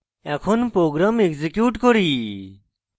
এখন program execute করুন